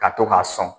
Ka to k'a sɔn